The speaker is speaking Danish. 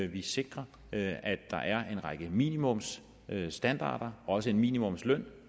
vi sikrer at der er en række minimumsstandarder også minimumsløn